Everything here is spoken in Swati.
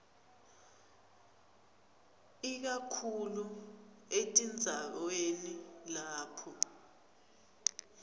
ikakhulu etindzaweni lapho